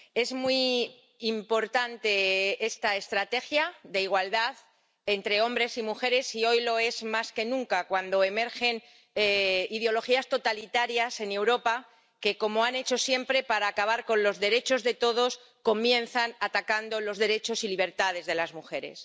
es muy importante esta estrategia de igualdad entre hombres y mujeres y hoy lo es más que nunca, cuando emergen ideologías totalitarias en Europa que —como han hecho siempre—, para acabar con los derechos de todos, comienzan atacando los derechos y libertades de las mujeres.